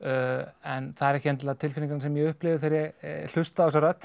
en það eru ekki endilega tilfinningarnar sem ég upplifi þegar ég hlusta á þessa rödd